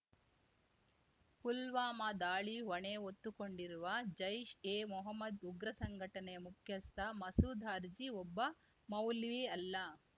ಪುಲ್ವಾಮಾ ದಾಳಿ ಹೊಣೆ ಹೊತ್ತುಕೊಂಡಿರುವ ಜೈಷ್‌ ಎ ಮೊಹಮ್ಮದ್‌ ಉಗ್ರ ಸಂಘಟನೆಯ ಮುಖ್ಯಸ್ಥ ಮಸೂದ್‌ ಅರ್ಜಿ ಒಬ್ಬ ಮೌಲ್ವಿ ಅಲ್ಲ